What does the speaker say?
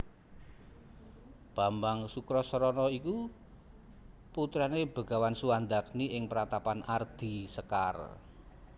Bambang Sukrasana iku putrane Begawan Suwandagni ing Pratapan Ardi Sekar